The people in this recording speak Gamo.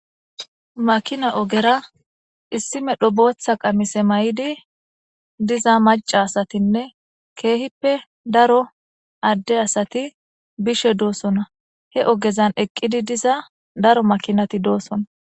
Makina ogera issimedho bootha qamise may'idi diza maca asatinne keehippe daro adde asati bishe doosona he ogezan eqqidi diza daro makinati doosona